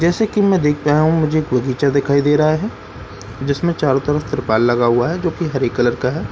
जैसा की मैं देख पाया हूँ मुझे एक बगीचा दिखाई दे रहा है जिसमें चारों तरफ त्रिपाल लगा हुआ है जो हरे कलर का है --